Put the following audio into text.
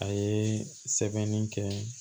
A ye sɛbɛnni kɛ